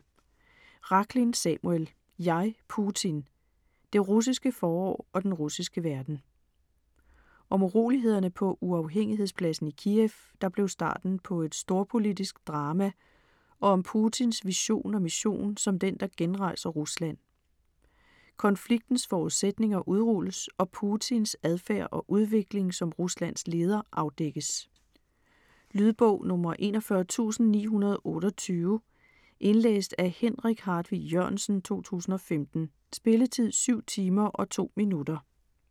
Rachlin, Samuel: Jeg, Putin: det russiske forår og den russiske verden Om urolighederne på Uafhængighedspladsen i Kiev, der blev starten på et storpolitisk drama og om Putins vision og mission som den, der genrejser Rusland. Konfliktens forudsætninger udrulles og Putins adfærd og udvikling som Ruslands leder afdækkes. Lydbog 41928 Indlæst af Henrik Hartvig Jørgensen, 2015. Spilletid: 7 timer, 2 minutter.